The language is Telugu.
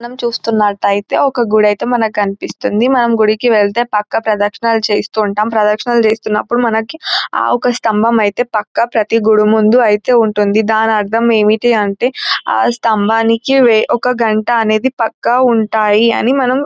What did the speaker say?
మనం చూస్తున్నటైతే ఒక గుడైతే మనకి కనిపిస్తుంది మనం గుడికి వెళ్తే పక్క ప్రదక్షణాలు చేస్తూ ఉంటాం ప్రదక్షనాలు చేస్తున్నప్పుడు మనకి ఒక స్థంభం ఐతే పక్క ప్రతి గుడి ముందు అయితే ఉంటుంది దాని అర్ధం ఏమిటి అంటే ఆ స్తంభానికి వె-ఒక గంట అనేది పక్క ఉంటాయి అని మనం --